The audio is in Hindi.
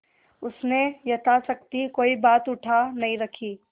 उसने यथाशक्ति कोई बात उठा नहीं रखी